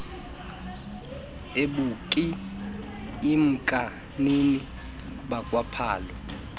ebukl lmkanini bakwaphalo